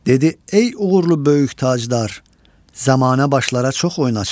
Dedi: "Ey uğurlu böyük tacdar, zamana başları çox oynadar.